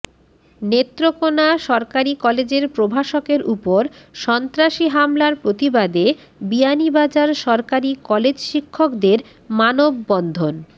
নেত্রকোনা সরকারি কলেজের প্রভাষকের উপর সন্ত্রাসী হামলার প্রতিবাদে বিয়ানীবাজার সরকারি কলেজ শিক্ষকদের মানববন্ধন